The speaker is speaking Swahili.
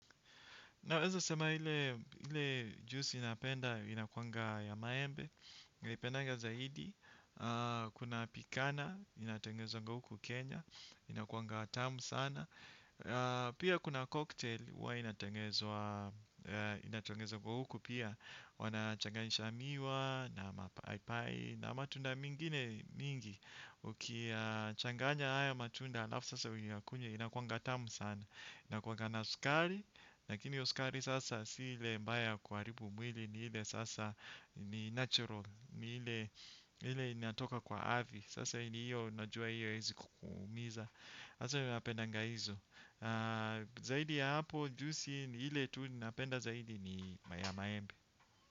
Naweza sema ile juisi napenda inakuanga ya maembe, napenda zaidi, kuna pikana, inatengenezwa huku Kenya, inakuanga tamu sana, pia kuna cocktail huwa inatengenezwa huku pia, wanachanganisha miwa, na mapaipai na matunda mengine mingi, ukiyachanganya haya matunda alafu sasa uyakunywe, inakuanga tamu sana, inakuanga na sukari, lakini hiyo sukari sasa si ile mbaya ya kuaribu mwili ni ile sasa ni natural ni ile inatoka kwa ardhi sasa hiyo unajua hiyo haiwezi kukuumiza. Sasa mimi napendanga hizo na zaidi ya hapo juisi ile tu napenda zaidi ni ya maembe.